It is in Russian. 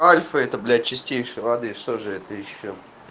альфа это блять чистейшей воды что же это ещё